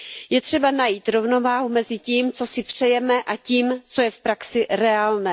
Je třeba najít rovnováhu mezi tím, co si přejeme, a tím, co je v praxi reálné.